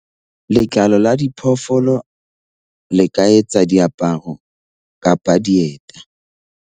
Letlalo la diphoofolo le ka etsa diaparo kapa dieta.